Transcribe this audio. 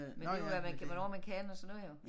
Men det jo med hvad man hvornår man kan og sådan noget jo